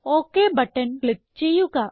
okay button click ചെയ്യുക